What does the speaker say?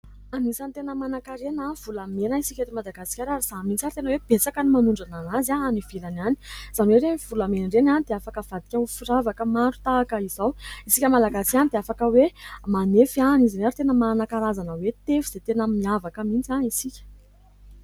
Efitrano fandrafetana miloko fotsy somary efa malotoloto, ny rindrina misy takelaka hazo miloko mainty miankina aminy, eo anoloana kosa ahitana fitaovana fandrafetana mipetraka ambony latabatra kely somary efa vasobasoka vita avy amin'ny hazo toy ny fandraka sy tsofa, eo ambany kosa ahitana potipotika sy tapatapaka hazo.